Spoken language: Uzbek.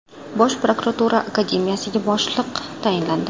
Bosh prokuratura akademiyasiga boshliq tayinlandi.